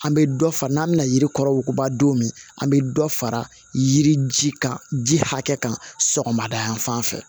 An bɛ dɔ fara n'an bɛna yiri kɔrɔ wuguba don min an bɛ dɔ fara yiri ji kan ji hakɛ kan sɔgɔmada yan fan fɛ